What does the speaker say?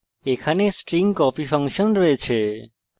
এখানে string copy copy function রয়েছে